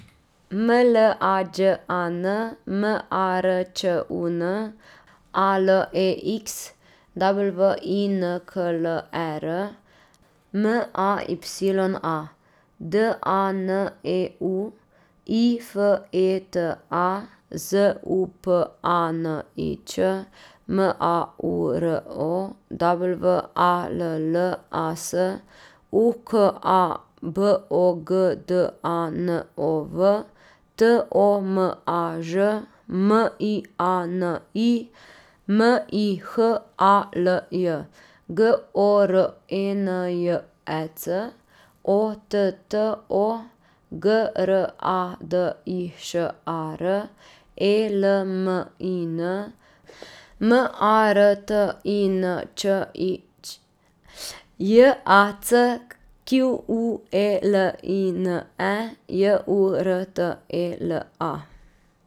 M L A Đ A N, M A R Č U N; A L E X, W I N K L E R; M A Y A, D A N E U; I F E T A, Z U P A N I Č; M A U R O, W A L L A S; U K A, B O G D A N O V; T O M A Ž, M I A N I; M I H A L J, G O R E N J E C; O T T O, G R A D I Š A R; E L M I N, M A R T I N Č I Ć; J A C Q U E L I N E, J U R T E L A.